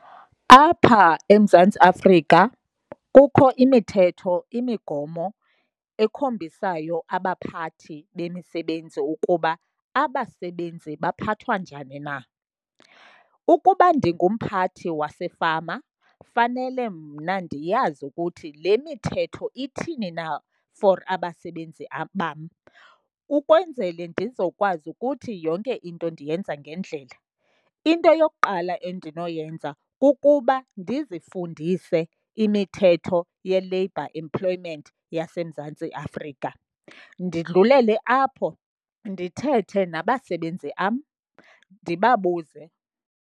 Apha eMzantsi Afrika kukho imithetho, imigomo ekhombisayo abaphathi bemisebenzi ukuba abasebenzi baphathwa njani na. Ukuba ndingumphathi wasefama fanele mna ndiyazi ukuthi le mithetho ithini na for abasebenzi bam, ukwenzele ndizokwazi ukuthi yonke into ndiyenza ngendlela. Into yokuqala endinoyenza kukuba ndizifundise imithetho ye-labor employment yaseMzantsi Afrika. Ndidlulele apho ndithethe nabasebenzi bam ndibabuze.